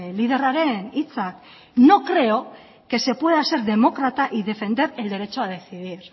liderraren hitzak no creo que se pueda ser demócrata y defender el derecho a decidir